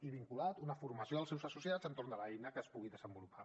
i vinculat una formació dels seus associats entorn de l’eina que es pugui desenvolupar